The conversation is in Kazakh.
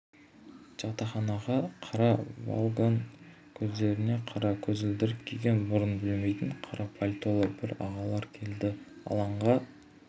жатақханаға қара волгамен көздеріне қара көзілдірік киген бұрын білмейтін қара пальтолы бір ағалар келді алаңға